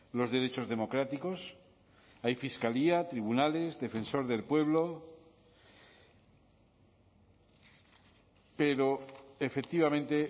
los derechos democráticos hay fiscalía tribunales defensor del pueblo pero efectivamente